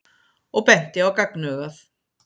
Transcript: og benti á gagnaugað.